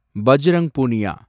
Bajrang Punia